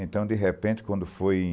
Então, de repente, quando foi em